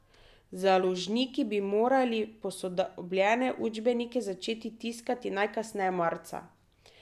Založniki bi morali posodobljene učbenike začeti tiskati najkasneje marca.